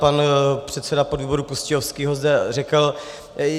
Pan předseda podvýboru Pustějovský ho zde řekl.